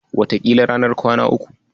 Wataƙila ranar kwana uku.